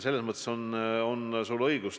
Selles mõttes on sul, Taavi, õigus.